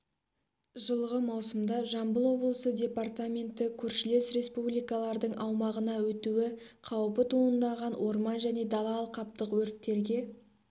жылғы маусымда жамбыл облысы департаменті көршілес республикалардың аумағына өтуі қауіпі туындаған орман және дала алқаптық өрттерге